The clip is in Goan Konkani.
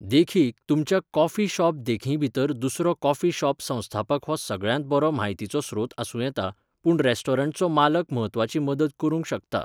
देखीक, तुमच्या कॉफी शॉप देखींभितर दुसरो कॉफी शॉप संस्थापक हो सगळ्यांत बरो म्हायतीचो स्रोत आसूं येता, पूण रेस्टॉरंटचो मालक म्हत्वाची मदत करूंक शकता.